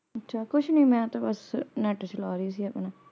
ਅੱਛਾ ਕੁਛ ਨੀ ਮੈਂ ਤੇ ਬਸ net ਚਲਾ ਰਹੀ ਸੀ ਆਪਣਾ ।